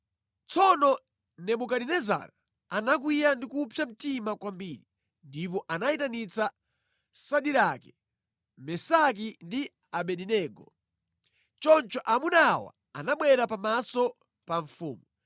Tsono Nebukadinezara anakwiya ndi kupsa mtima kwambiri, ndipo anayitanitsa Sadirake, Mesaki ndi Abedenego. Choncho amuna awa anabwera pamaso pa mfumu,